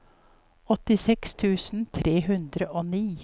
åttiseks tusen tre hundre og ni